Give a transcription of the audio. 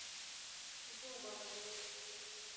зубовым